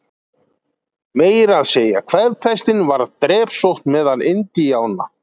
Meira að segja kvefpestin varð drepsótt meðal Indíána.